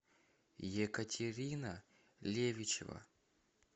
екатерина левичева